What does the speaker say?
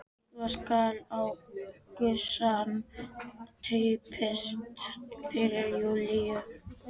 Svo skall á gusan: Týpiskt fyrir Júlíu!